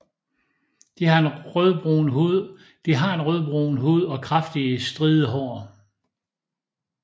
Det har en rødbrun hud og kraftige stride hår